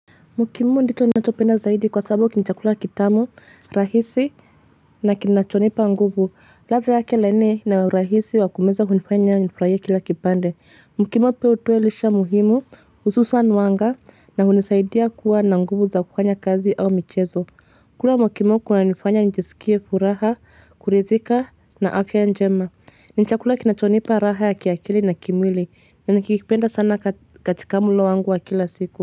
Mokimo ndicho ninachopenda zaidi kwa sababu ni chakula kitamu, rahisi na kinachonipa nguvu. Ladha yake laini na urahisi wa kumeza hunifanya ya nifuraye kila kibande. Mokimo pia hutuelisha muhimu, ususu wa nwanga na hunisaidia kuwa na nguvu za kufanya kazi au michezo. Kula mokimo kuna nifanya njisikie furaha, kuridhika na afya njema. Ni chakula kinachonipa raha ya kiakili na kimwili, ya nikikipenda sana katika mulo wangu wa kila siku.